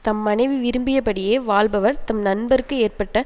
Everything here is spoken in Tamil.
தம் மனைவி விரும்பியபடியே வாழ்பவர் தம் நண்பர்க்கு ஏற்பட்ட